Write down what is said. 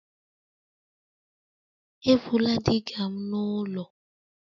Ebula digger m n'ụlọ!